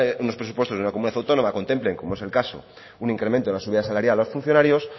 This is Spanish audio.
de una comunidad autónoma contemplen como es el caso un incremento en la subida salarial a los funcionarios